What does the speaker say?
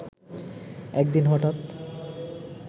একদিন হঠাৎ